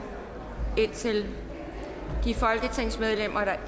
til de folketingsmedlemmer der